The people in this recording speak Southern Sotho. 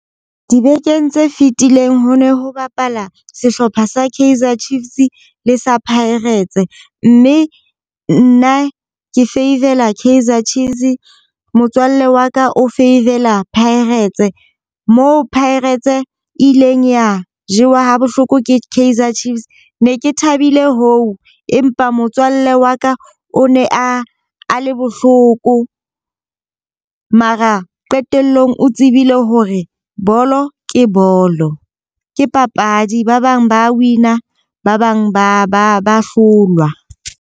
Dibekeng tse fitileng ho ne ho bapala sehlopha sa Kaizer Chiefs le sa Pirates. Mme nna ke favour-ela Kaizer Chiefs, motswalle wa ka o favour-ela Pirates. Mo Pirates e ileng ya jewa ha bohloko ke Kaizer Chiefs. Ne ke thabile hoo, empa motswalle wa ka o ne a a le bohloko. Mara qetellong o tsebile hore bolo ke bolo. Ke papadi ba bang ba win-a ba bang ba ba ba hlolwa.